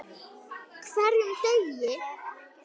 HVERJUM DEGI!